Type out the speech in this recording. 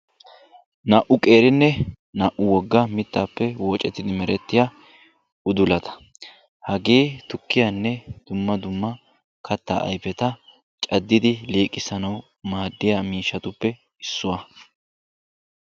Naa'u qeerinne naa'u wogga mittappe woocettidi merettiya udulata, hagee tukkiyanne dumma dumma katta ayfeta caddidi liiqissanawu maadiyaa miishshatuppe issuwa.